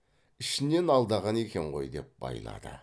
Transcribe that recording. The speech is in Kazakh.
ішінен алдаған екен ғой деп байлады